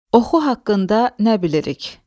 Oxu haqqında nə bilirik?